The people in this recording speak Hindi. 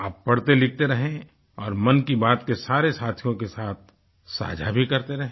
आप पढ़तेलिखते रहें और मन की बात के सारे साथियों के साथ साझा भी करते रहें